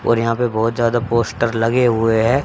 और यहां पे बहुत ज्यादा पोस्टर लगे हुए हैं।